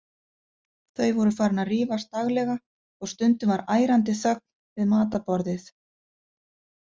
Þau voru farin að rífast daglega og stundum var ærandi þögn við matarborðið.